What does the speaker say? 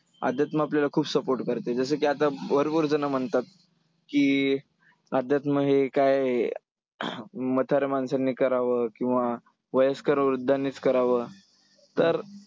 अध्यात्म आपल्याला खूप support करते. जसं की आता वरवरचं न म्हणतात, की अध्यात्म हे काय आहे, म्हाताऱ्या माणसांनी करावं किंवा वयस्कर वृद्धांनीच करावं तर,